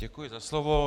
Děkuji za slovo.